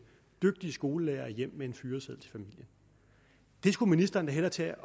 dygtige skolelærere hjem med en fyreseddel det skulle ministeren da hellere tage